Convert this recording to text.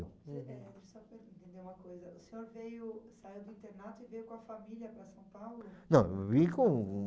eh, só para eu entender uma coisa. O senhor veio saiu do internato e veio com a família para São Paulo? Não, eu vim com